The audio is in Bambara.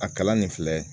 A kalan nin filɛ